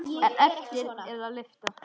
En eftir er að lyfta.